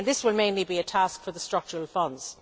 This will mainly be a task for the structural funds.